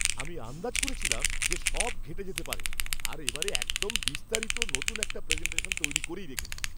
আমি আন্দাজ করেছিলাম যে সব ঘেঁটে যেতে পারে আর এবারে একদম বিস্তারিত, নতুন একটা প্রেজেন্টেশন তৈরি করেই রেখেছি।